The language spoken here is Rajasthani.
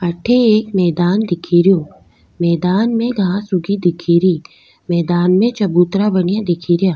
अठ एक मैदान दिखे रो मैदान में घांस उगी दिखेरी मैदान में चबूतरा बना दिख रा।